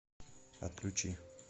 отключи